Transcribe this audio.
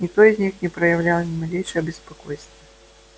никто из них не проявлял ни малейшего беспокойства